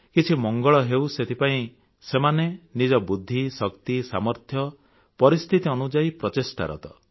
କିଛି ମଙ୍ଗଳ ହେଉ ସେଥିପାଇଁ ସେମାନେ ନିଜ ବୁଦ୍ଧି ଶକ୍ତି ସାମର୍ଥ୍ୟ ପରିସ୍ଥିତି ଅନୁଯାୟୀ ପ୍ରଚେଷ୍ଟାରତ